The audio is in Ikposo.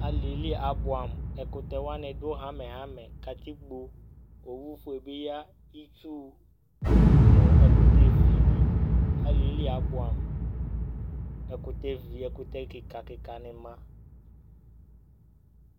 ali yɛ li abʋam ɛkutɛ wʋani du hamɛ hamɛ, katikpo, owu fue bi ya , itsu nu ɛkutɛ vi ni , ali yɛ li abʋam, ɛkutɛ vi, ɛkutɛ kika kika ni ma